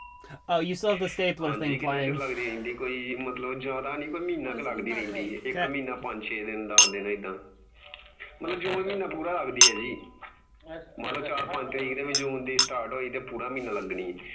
ਹਾਂਜੀ ਕਿੰਨਾ ਚਿਰ ਲੱਗਦੀ ਰਹਿੰਦੀ ਏ ਜਿਆਦਾ ਨਹੀਂ ਮਹੀਨਾ ਕ ਲਗਦੀ ਰਹਿੰਦੀ ਏ ਮਹੀਨਾ ਪੰਜ ਦਿਨ ਛੇ ਦਿਨ ਦੱਸ ਦਿਨ ਐਦਾਂ